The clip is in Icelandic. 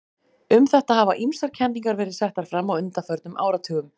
Um þetta hafa ýmsar kenningar verið settar fram á undanförnum áratugum.